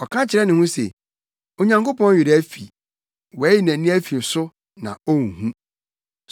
Ɔka kyerɛ ne ho se, “Onyankopɔn werɛ afi; wayi nʼani afi so na onhu.”